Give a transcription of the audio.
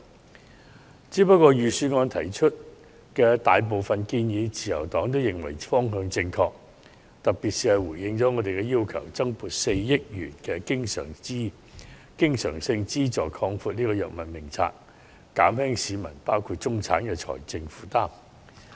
不過，自由黨認為預算案提出的大部分建議都方向正確，回應了我們的訴求，特別是增撥4億元經常性資助擴闊藥物名冊，減輕市民，包括中產的財政負擔。